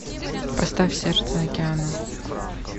поставь сердце океана